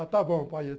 Ah, está bom, pai.